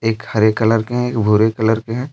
एक हरे कलर के एक भूरे कलर के है।